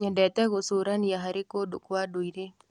Nyendete gũcũrania harĩ kũndũ kwa ndũire.